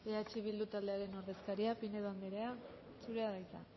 eh bildu taldearen ordezkaria pinedo andrea zurea da hitza